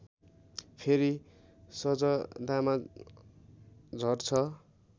फेरि सजदामा झर्छ